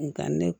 Nga ne